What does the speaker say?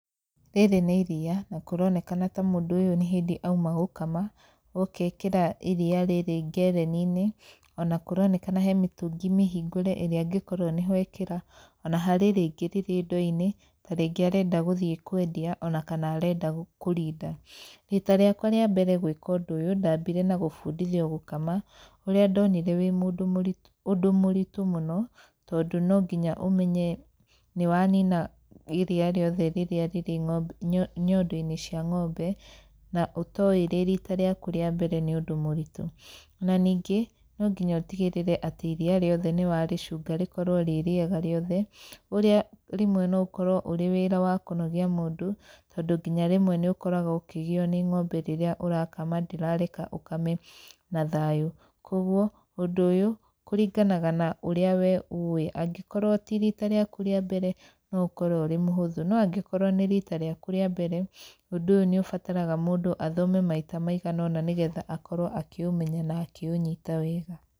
Rĩrĩ nĩ iriia na kũronekana ta mũndũ ũyũ nĩ hĩndĩ auma gũkama, oka ekĩra iriia rĩrĩ ngereni-inĩ, ona kũronekana he mĩtũngi mĩhingũre ĩrĩa angĩkorwo nĩ ho ekĩra. Ona harĩ rĩngĩ rĩrĩ ndo-inĩ, ta rĩngĩ arenda gũthiĩ kwendia ona kana arenda kũrinda. Rita rĩakwa rĩa mbere gwĩka ũndũ ũyũ, ndambire na gũbundithio gũkama, ũrĩa ndonire wĩ mũndũ ũritũ ũndũ mũritũ mũno, tondũ no nginya ũmenye nĩ wanina iriia rĩothe rĩrĩa rĩrĩ ng'ombe nyondo-inĩ cia ng'ombe, na ũtoĩ rĩ rita rĩaku rĩa mbere nĩ ũndũ mũritũ. Na ningĩ no nginya ũtigĩrĩre atĩ iriia rĩothe nĩ warĩcunga rĩkorwo rĩ rĩega rĩothe, ũrĩa rĩmwe no ũkorwo ũrĩ wĩra wa kũnogia mũndũ, tondũ nginya rĩmwe nĩ ũkoraga ũkĩgio nĩ ng'ombe rĩrĩa ũrakama ndĩrareka ũkame na thayũ. Kũguo, ũndũ ũyũ, kũringanaga na ũrĩa we ũĩ, angĩkorwo ti rita rĩaku rĩa mbere no ũkorwo ũrĩ mũhũthũ, no angĩkorwo nĩ rita rĩaku rĩa mbere, ũndũ ũyũ nĩ ũbataraga mũndũ athome maita maigana ũna nĩ getha akorwo akĩũmenya na akĩũnyita wega.